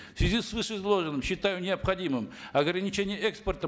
в связи с вышеизложенным считаю необходимым ограничение экспорта